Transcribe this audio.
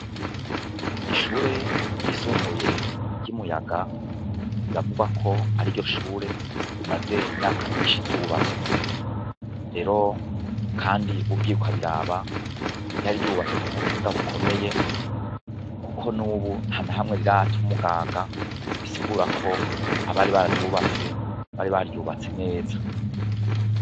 Ishure ryisumbuye ryimuyaga riravugwako ariryo shure rimaze imyaka myinshi ryubatswe rero kandi ugiye ukabiraba ryari ryubatswe kubuhinga bukomeye kuko nubu ntanahamwe rirata umugaga bisigura ko abari bararyubatse bari baryubatse neza